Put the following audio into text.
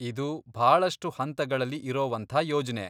ಇದು ಭಾಳಷ್ಟು ಹಂತಗಳಲ್ಲಿ ಇರೋವಂಥಾ ಯೋಜ್ನೆ.